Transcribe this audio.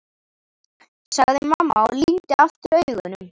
sagði mamma og lygndi aftur augunum.